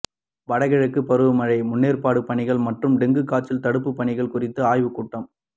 வட கிழக்கு பருவமழை முன்னேற்பாடு பணிகள் மற்றும் டெங்கு காய்ச்சல் தடுப்பு பணிகள் குறித்த ஆய்வுக்கூட்டம்